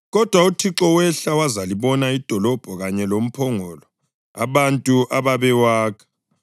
Kodwa uThixo wehla wazalibona idolobho kanye lomphongolo abantu ababewakha.